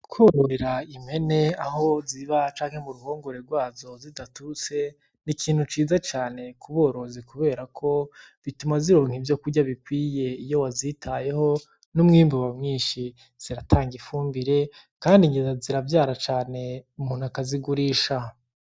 Kwororera impene aho ziba canke muruhongore rwazo zidaturutse ni ikintu ciza cane kuborozi kuberako bituma zironka ivyo kurya bikwiye iyo wazitayeho n'umwimbu uba mwinshi: ziratanga ifumbire, kandi nyina ziravyara cane umuntu akazigurisha.